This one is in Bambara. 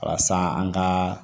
Walasa an ka